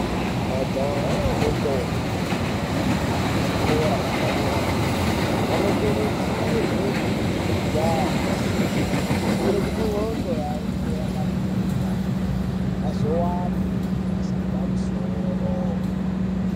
Majaha nendombi dzeku kuzvikora zvepadera dera vanokurudzirwa kudzidza nesimba kuitira kuti ndxondo yavo ive yakapinza kuitire azowana mabasa epamusoro.